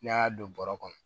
N'i y'a don bɔrɔ kɔnɔ